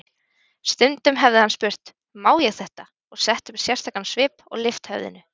Stundum hefði hann spurt: Má ég þetta? og sett upp sérstakan svip og lyft höfðinu.